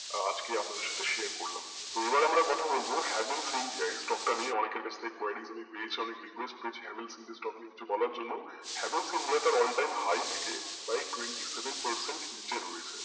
আজকে আপনাদের সাথে share করলাম তো এবার আমরা কথা বলবো havel franchise টা নিয়ে অনেকের কাছ থেকে query গুলি পেয়েছি অনেক rquest পেয়েছি Havells india stock limited নিয়ে কিছু বলার জন Havells india থাকে twenty seven percent নিচে রয়েছে